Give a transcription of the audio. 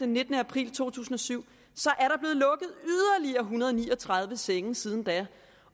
nittende april to tusind og syv og hundrede og ni og tredive senge siden da